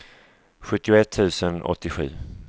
sjuttioett tusen åttiosju